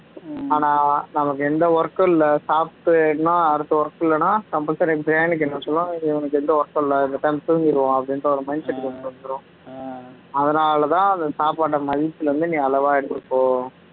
ஆனா நமக்கு எந்த work உம் இல்ல சாப்பிட்டு என்னா அடுத்த work இல்லன்னா compulsory ஆ brain க்கு என்ன இவனுக்கு எந்த work உம் இல்ல பேசாம துங்கிருவோம் அப்படின்ற ஒரு mind set க்கு கொண்டு வந்துரும் அதனால தான் அந்த சாப்பாட்ட மதியத்துல வந்து நீ அளவா எடுததுக்கோ